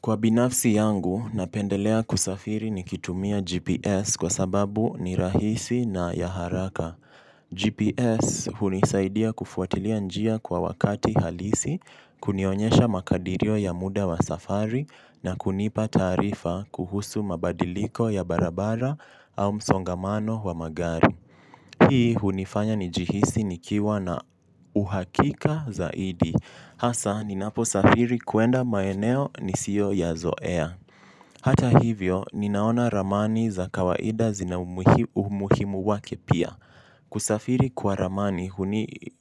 Kwa binafsi yangu, napendelea kusafiri ni kitumia GPS kwa sababu ni rahisi na ya haraka. GPS hunisaidia kufuatilia njia kwa wakati halisi, kunionyesha makadirio ya muda wa safari na kunipa tarifa kuhusu mabadiliko ya barabara au msongamano wa magari. Hii hunifanya njihisi nikiwa na uhakika zaidi. Hasa ninapo safiri kuenda maeneo nisiyo yazoea. Hata hivyo, ninaona ramani za kawaida zina umuhimu wake pia. Kusafiri kwa ramani